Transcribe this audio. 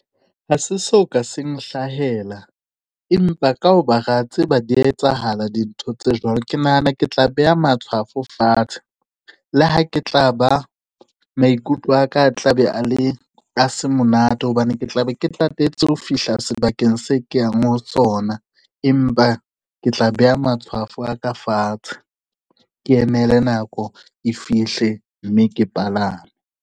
Ha se so ka se nhlahela, empa ka ho ba ra tseba di ya etsahala dintho tse jwalo. Ke nahana ke tla beha matshwafo fatshe, le ha ke tla ba maikutlo a ka a tla be a le, a se monate hobane ke tla be ke tatetse ho fihla sebakeng se ke yang ho sona. Empa ke tla beha matshwafo a ka fatshe, ke emele nako e fihle mme ke palame.